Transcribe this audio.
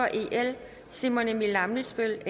simon emil ammitzbøll